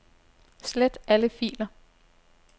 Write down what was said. Slet alle filer.